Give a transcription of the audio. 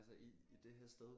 Altså i i det her sted